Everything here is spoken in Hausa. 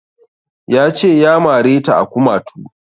Ya ce ya mare ta a kumatu